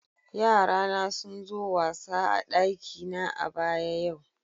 Yara na sun zo wasa a'dakina a'baya yau.